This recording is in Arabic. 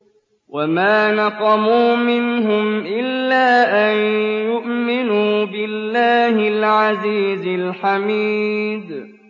وَمَا نَقَمُوا مِنْهُمْ إِلَّا أَن يُؤْمِنُوا بِاللَّهِ الْعَزِيزِ الْحَمِيدِ